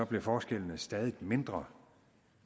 blev forskellene stadig mindre